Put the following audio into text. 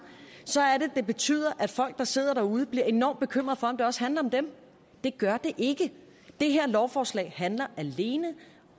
så betyder at folk der sidder derude bliver enormt bekymrede for om det også handler om dem det gør det ikke det her lovforslag handler alene